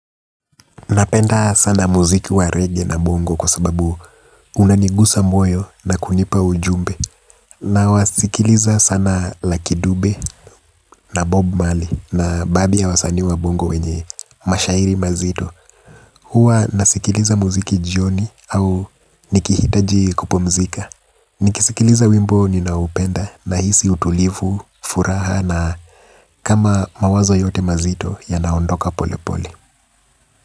Napenda sana muziki wa reggae na bongo kwa sababu unanigusa moyo na kunipa ujumbe. Na wasikiliza sana lakidube na bob mali na baadhi ya wasanii wa bongo wenye mashairi mazito. Huwa nasikiliza muziki jioni au nikihitaji kupumzika. Nikisikiliza wimbo ninao penda na hisi utulivu, furaha na kama mawazo yote mazito, yanaondoka pole pole.